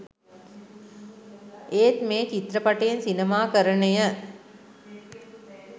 ඒත් මේ චිත්‍රපටයෙන් සිනමාකරණය